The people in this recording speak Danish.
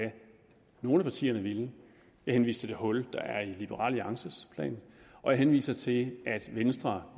nogle af partierne ville jeg henviste til det hul der er i liberal alliances plan og jeg henviste til at venstre